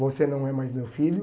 Você não é mais meu filho.